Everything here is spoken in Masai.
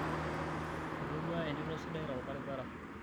etodua entuto sidai tolbaribara